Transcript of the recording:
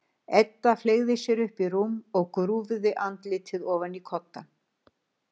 Edda fleygði sér upp í rúm og grúfði andlitið ofan í koddann.